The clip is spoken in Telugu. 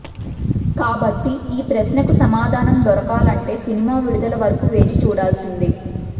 కాబట్టి ఈ ప్రశ్నకు సమాధానం దొరకాలంటే సినిమా విడుదల వరకు వేచి చూడాల్సిందే